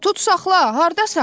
Tutsaxla, hardasan?